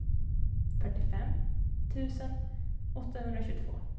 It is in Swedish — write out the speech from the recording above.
fyrtiofem tusen åttahundratjugotvå